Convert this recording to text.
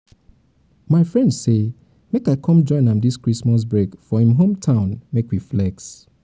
my friend say make i come join am dis christmas break for him hometown make we flex